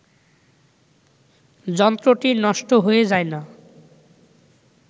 যন্ত্রটি নষ্ট হয়ে যায় না